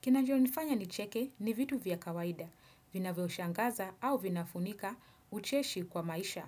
Kinachonifanya nicheke ni vitu vya kawaida, vinavyo shangaza au vinafunika ucheshi kwa maisha.